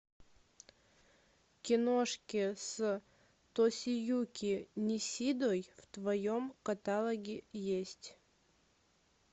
киношки с тосиюки нисидой в твоем каталоге есть